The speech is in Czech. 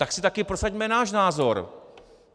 Tak si taky prosaďme náš názor!